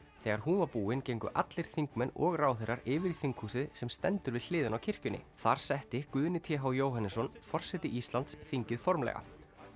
þegar hún var búin gengu allir þingmenn og ráðherrar yfir í þinghúsið sem stendur við hliðina á kirkjunni þar setti Guðni t h Jóhannesson forseti Íslands þingið formlega